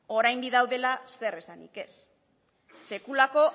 orain bi daudela zer esanik ez sekulako